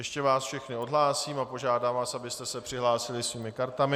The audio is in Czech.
Ještě vás všechny odhlásím a požádám vás, abyste se přihlásili svými kartami.